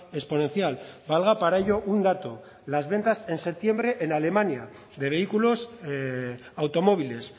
exponencial valga para ello un dato las ventas en septiembre en alemania de vehículos automóviles